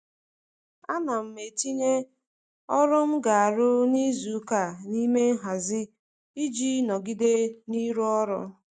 Ana m etinye ọrụ m ga-arụ n'izuụka n'ime nhazi m iji nọgide n'ịrụ ọrụ